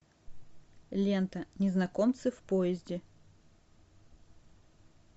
лента незнакомцы в поезде